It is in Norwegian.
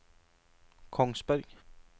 Kongsberg